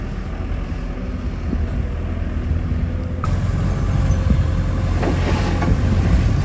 Biz artıq gecə də işləyə bilərik.